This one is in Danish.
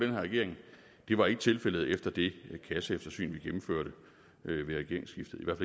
her regering og det var ikke tilfældet efter det kasseeftersyn vi gennemførte ved regeringsskiftet i hvert